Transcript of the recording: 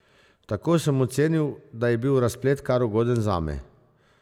Tako sem ocenil, da je bil razplet kar ugoden zame.